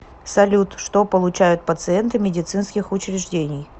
салют что получают пациенты медицинских учреждений